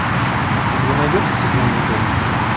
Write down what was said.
у тебя найдется стеклянный дом